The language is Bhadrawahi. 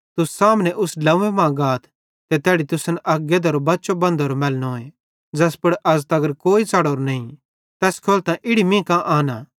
तुस सामने उस ड्लव्वें मां गाथ ते तैड़ी तुसन अक गधेरो बच्चो बन्धोरो मैलनोए ज़ैस पुड़ अज़ तगर कोई नईं च़ढ़ोरो तैस खोलतां इड़ी मीं कां आनां